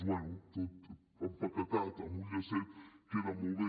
bé tot empaquetat amb un llacet queda molt bé